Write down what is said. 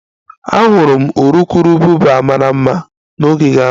Ahụrụ m urukurubụba mara mma n'ogige ahụ